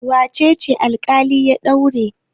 Wace ce alƙali ya daure?